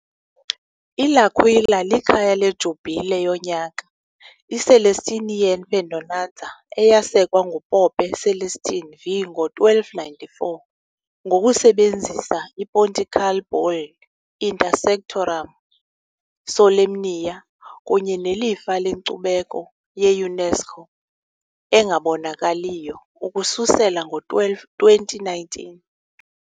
I-L'Aquila likhaya lejubhile yonyaka, iCelestinian Perdonanza, eyasekwa nguPope Celestine V ngo-1294 ngokusebenzisa i- pontifical bull "Inter sanctorum solemnia" kunye nelifa lenkcubeko ye- UNESCO engabonakaliyo ukususela ngo-12 2019